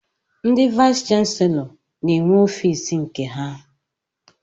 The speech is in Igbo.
Ndị vayis chansilọ n'enwe ọfiisi nke ha.